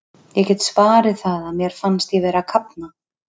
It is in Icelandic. Ég get svarið það að mér fannst ég vera að kafna.